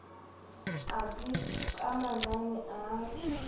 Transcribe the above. a dti ka manane a